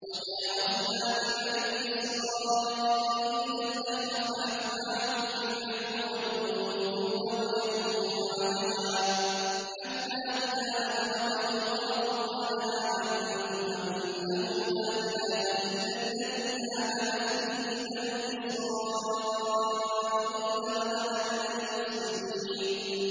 ۞ وَجَاوَزْنَا بِبَنِي إِسْرَائِيلَ الْبَحْرَ فَأَتْبَعَهُمْ فِرْعَوْنُ وَجُنُودُهُ بَغْيًا وَعَدْوًا ۖ حَتَّىٰ إِذَا أَدْرَكَهُ الْغَرَقُ قَالَ آمَنتُ أَنَّهُ لَا إِلَٰهَ إِلَّا الَّذِي آمَنَتْ بِهِ بَنُو إِسْرَائِيلَ وَأَنَا مِنَ الْمُسْلِمِينَ